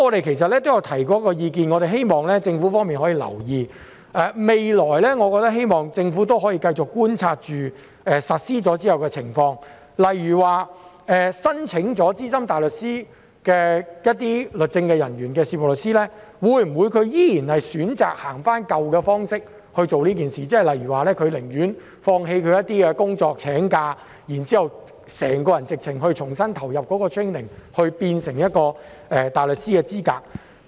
其實我們曾提出意見，希望政府可以留意，我希望政府未來可以繼續觀察實施後的情況，例如任職律政人員的事務律師在申請成為資深大律師後，會否選擇沿用舊有方式來處理此事，例如他寧願放棄一些工作或請假，重新投入 training， 然後取得大律師的資格。